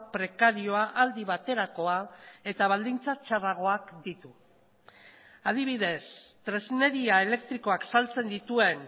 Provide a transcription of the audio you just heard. prekarioa aldi baterakoa eta baldintza txarragoak ditu adibidez tresneria elektrikoak saltzen dituen